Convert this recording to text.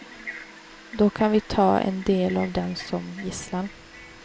Då kan vi ta en del av dem som gisslan.